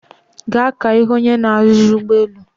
Gaa ka ihu onye na-aruzi ugboelu